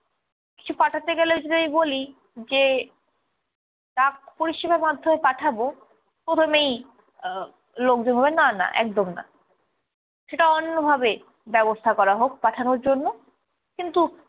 কিছু পাঠাতে গেলে যদি আমি বলি যে ডাক পরিষেবার মাধ্যমে পাঠাবো প্রথমেই আহ লোকজন বলবে না না একদম না। সেটা অন্য ভাবে ব্যবস্থা করা হোক পাঠানোর জন্য কিন্তু-